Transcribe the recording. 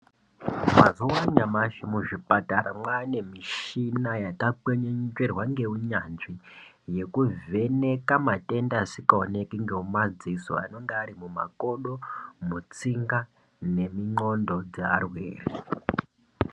Mazuva anyamashi muzvipatara mwane mishina yakakwenenzwerwa ngeunyanzvi. Yekuvheka matenda asikaoneki ngemadziso anenge ari mumakodo, mutsinga nemundxondo dzearwere.